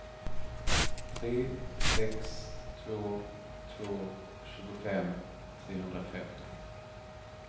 tre sex två två tjugofem trehundrafemtio